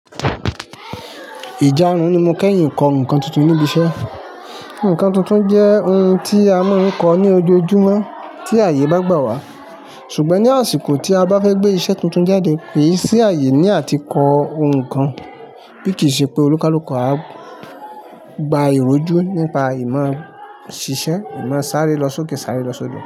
Ìjárun ni mo kẹ́yìn kọ ǹkan tuntun níbi iṣẹ́. Ǹkan tuntun jẹ́ ohun tí a mọ̀ ń kọ ní ojoojúmọ́ tí ààyè bá gbà wá. Ṣùgbọ́n ní àsìkò tí a bá fẹ́ gbé iṣẹ́ tuntun jáde, kì í sí ààyè ní àti kọ ohun kan, bí kì í ṣe pé olúkalúkọ á gba ìrójú nípa ìmọ̀ ṣíṣe, ìmọ̀ sáré lọ sókè, sáré lọ sodo.